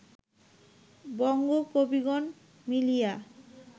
বঙ্গ কবিগণ মিলিয়া